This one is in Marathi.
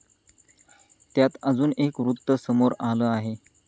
त्यात अजून एक वृत्त समोर आलं आहे.